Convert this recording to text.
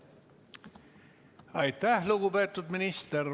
Aitäh, lugupeetud minister!